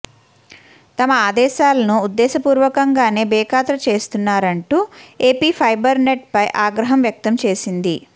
తమ ఆదేశాలను ఉద్దేశపూర్వకంగానే బేఖాతరు చేస్తున్నారంటూ ఏపీ ఫైబర్ నెట్ పై ఆగ్రహం వ్యక్తం చేసింది